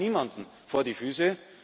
Wir fallen niemandem vor die Füße.